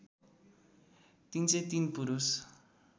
३०३ पुरुष